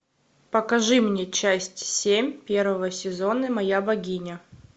покажи мне часть семь первого сезона моя богиня